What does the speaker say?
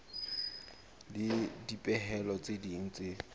le dipehelo tse ding tse